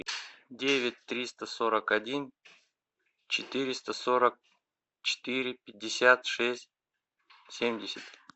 девять триста сорок один четыреста сорок четыре пятьдесят шесть семьдесят